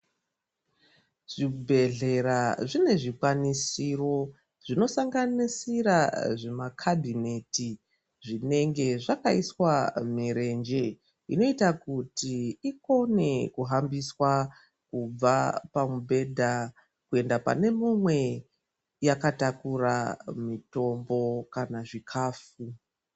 Zvibhedhlera zvine zvikwanisiro zvinosanganisira zvimakabhineti zvinenge zvakaiswa mirenje inoita kuti ikone kuhambiswa kubva pamubhedha kuenda pane mumwe yakatakura mitombo kana zvikafu.